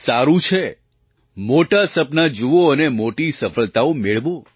સારું છે મોટાં સપનાં જુઓ અને મોટી સફળતાઓ મેળવો